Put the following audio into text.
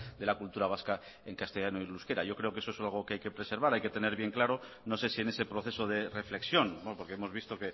de la cultura vasca en castellano y en euskera yo creo que eso es algo que hay que preservar hay que tener bien claro no sé si en ese proceso de reflexión porque hemos visto